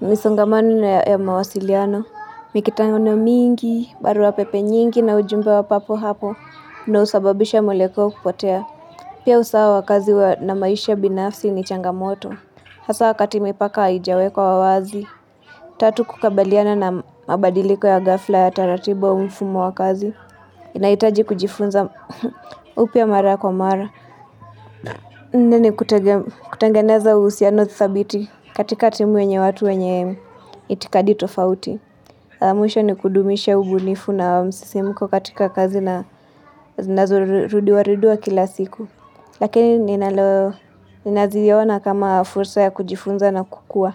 misongamano ya mawasiliano. Mikutano mingi, barua pepe nyingi na ujumbe wa papo hapo na husababisha mwelekeo kupotea. Pia usawa wa kazi wa na maisha binafsi ni changamoto. Hasa wakati mipaka haijawekwa wazi, tatu kukabiliana na mabadiliko ya ghafla ya taratibu au mfumo wa kazi. Inahitaji kujifunza upya mara kwa mara. Nne ni kutengeneza uhusiano thabiti katika timu yenye watu wenye itikadi tofauti. Mwisho ni kudumisha ubunifu na msisimko katika kazi na zinazorudiwa rudiwa kila siku. Lakini ninalo ninaziona kama fursa ya kujifunza na kukua.